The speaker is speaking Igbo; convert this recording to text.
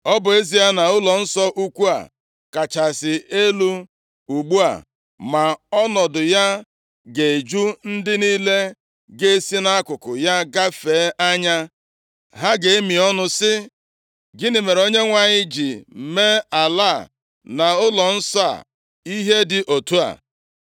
Ọ bụ ezie na ụlọnsọ ukwu a kachasị elu ugbu a, ma ọnọdụ ya ga-eju ndị niile ga-esi nʼakụkụ ya gafee anya. Ha ga-emi ọnụ, sị, ‘Gịnị mere Onyenwe anyị ji mee ala a na ụlọnsọ a, ihe dị otu a?’